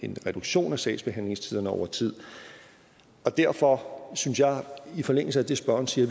reduktion af sagsbehandlingstiderne over tid og derfor synes jeg i forlængelse af det spørgeren siger